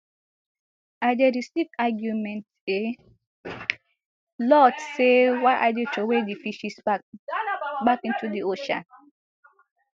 i dey receive argument a lot say why i dey throway di fishes back back into di ocean